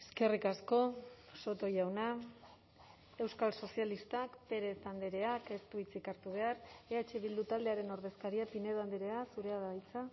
eskerrik asko soto jauna euskal sozialistak pérez andreak ez du hitzik hartu behar eh bildu taldearen ordezkaria pinedo andrea zurea da hitza